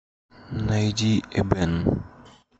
найди эбен